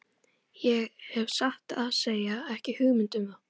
Ég hef satt að segja ekki hugmynd um það.